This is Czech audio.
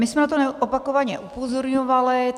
My jsme na to opakovaně upozorňovali.